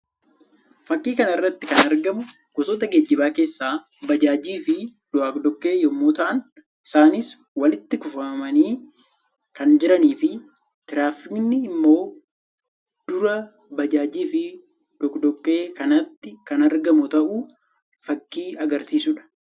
Fakkii kana irratti kan argamu gosoota geejjibaa keessaa baajaajii fi doadoqqee yammuu ta'an; isaannis walitti kuufamanii kan jiranii fi tiraafkni immoo dura bajaajii fi doqdoqqee kanaatti kan argamu ta'uu fakkii agarsiisuu dha.